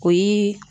O ye